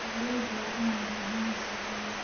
Beeralayda waa in ay fahmaan suuqyada.